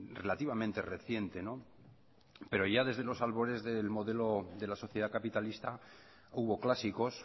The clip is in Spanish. relativamente reciente pero ya desde los albores del modelo de la sociedad capitalista hubo clásicos